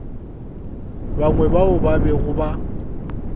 bangwe bao ba bego ba